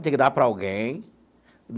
Tinha que dar para alguém.